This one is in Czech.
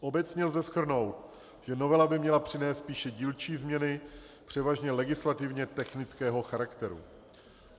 Obecně lze shrnout, že novela by měla přinést spíše dílčí změny, převážně legislativně technického charakteru.